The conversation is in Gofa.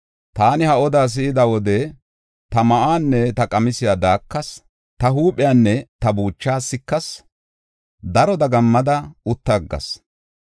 Taani ha oda si7ida wode ta ma7uwanne ta qamisiya daakas; ta huuphiyanne ta buuchaa sikas; daro dagammada utta aggas.